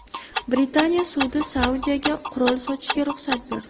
Britaniya sudi Saudiyaga qurol sotishga ruxsat berdi.